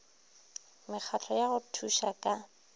mekgatlo ya go thuša ka